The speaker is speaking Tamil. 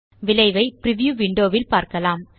விளைவை பிரிவ்யூ விண்டோ ல் பார்க்கலாம்